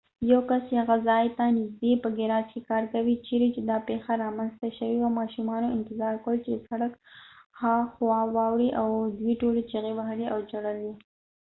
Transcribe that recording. یو کس چې هغه ځای ت نژدې په ګیراج کې کار کوي چیرې چې دا پیښه رامنځته شوې وه ماشومانو انتظار کولو چې د سړک هاخوا واوړي او دوی ټولو چیغې وهلې او ژړل یې